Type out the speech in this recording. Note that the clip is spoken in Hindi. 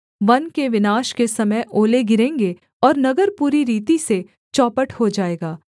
वन के विनाश के समय ओले गिरेंगे और नगर पूरी रीति से चौपट हो जाएगा